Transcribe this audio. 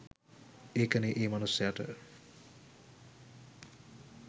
ඒකනෙ ඒ මනුස්සයට